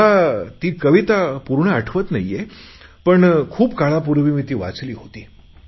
मला ती कविता पूर्ण आठवत नाहीय पण खूप काळापूर्वी मी ती वाचली होती